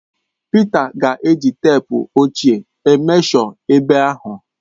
Pịta ga-eji teepu ochie emeshọ ebe ahụ.